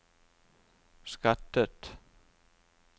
skattet